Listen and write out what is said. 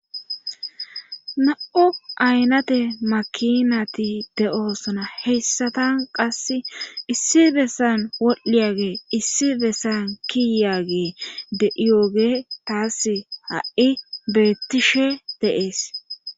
Na,o aynate makinati de oosona heyssatan qass issi bessan woldhdhiyage issi bessan kiyaage de iyooge taass ha7i beettishe deees